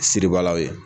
Siribaalaw ye